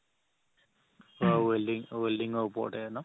অ' welding welding ৰ ওপৰতে ন